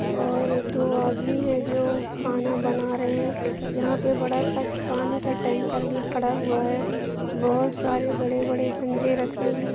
और दो आदमी हैं जो खाना बना रहे हैं। यहाँ पे बड़ा सा पानी का टैंकर भी खड़ा हुआ है। बहोत सारे बड़े बड़े गंजे रखे हुए हैं।